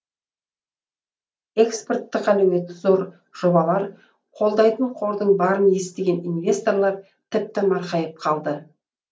экспорттық әлеуеті зор жобалар қолдайтын қордың барын естіген инвесторлар тіпті марқайып қалды